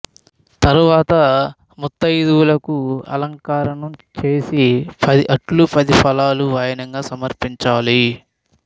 తర్వాత ముత్తయిదువులకు అలంకారం చేసి పది అట్లు పది ఫలాలు వాయనంగా సమర్పించాలి